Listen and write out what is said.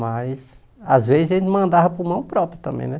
Mas, às vezes, ele mandava por mão própria também, né?